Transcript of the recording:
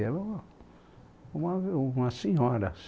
Ela é uma, uma uma senhora.